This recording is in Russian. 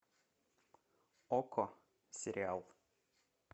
окко сериал